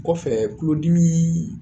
Kɔfɛ kuludimi